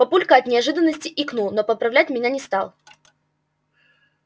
папулька от неожиданности икнул но поправлять меня не стал